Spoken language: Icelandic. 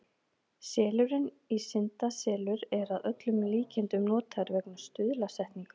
Selurinn í syndaselur er að öllum líkindum notaður vegna stuðlasetningar.